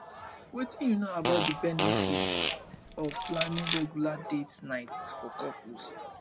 wetin you know about about di benefits of planning regular date nights for couples